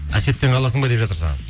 әсеттен қаласың ба деп жатыр саған